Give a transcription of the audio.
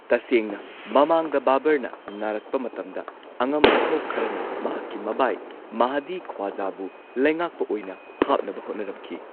ꯇꯁꯦꯡꯅ ꯃꯃꯥꯡꯗ ꯕꯥꯕꯔꯅ ꯅꯥꯔꯛꯄ ꯃꯇꯝꯗ, ꯑꯉꯝ ꯑꯊꯧ ꯈꯔꯅ ꯃꯍꯥꯛꯀꯤ ꯃꯕꯥꯏ ꯃꯥꯍꯗꯤ ꯈ꯭ꯋꯥꯖꯥꯕꯨ ꯂꯩꯉꯥꯥꯛꯄ ꯑꯣꯏꯅ ꯍꯥꯞꯅꯕ ꯍꯣꯠꯅꯔꯝꯈꯤ꯫